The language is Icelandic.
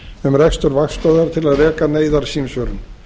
um rekstur vaktstöðvar til að reka neyðarsímsvörun